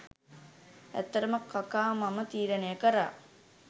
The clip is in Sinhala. ඇත්තටම කකා මම තීරණය කරා